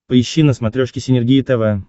поищи на смотрешке синергия тв